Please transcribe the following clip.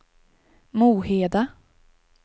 Moheda